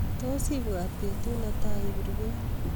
tos ibwat petut ne tai iber beek